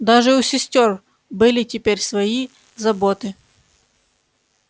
даже у сестёр были теперь свои заботы